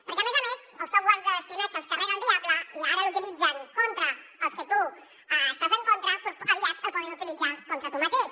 perquè a més a més els software d’espionatge els carrega el diable i ara l’utilitzen contra els que tu estàs en contra però aviat el poden utilitzar contra tu mateix